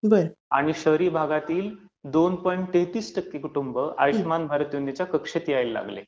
आणि शहरी भागातील दोन पॉईंट तेहतीस कुटुंब आयुष्यमान भारत योजनेच्या कक्षेत यायला लागले